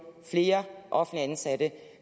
flere offentligt ansatte